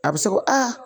A bɛ se ko aa